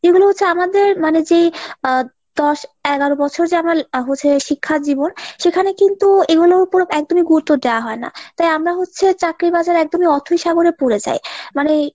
এগুলো হচ্ছে আমাদের মানে যেই আহ দশ এগারো বছর যে আমরা হচ্ছে শিক্ষাজীবন সেখানে কিন্তু এগুলোর উপর একদমই গুরুত্ব দেওয়া হয় না, তাই আমরা হচ্ছে চাকরির বাজারে একদম অথৈ সাগরে পরে যাই মানে।